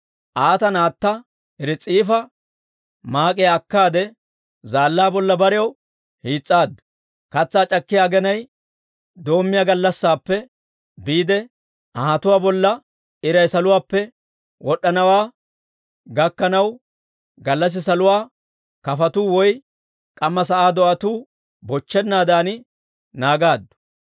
Aata naatta Ris'ifa maak'iyaa akkaade, zaallaa bolla barew hiis's'aaddu; katsaa c'akkiyaa aginay doommiyaa gallassaappe biide anhatuwaa bolla iray saluwaappe wod'd'anawaa gakkanaw, gallassi saluwaa kafotuu woy k'amma sa'aa do'atuu bochchennaadan naagaaddu.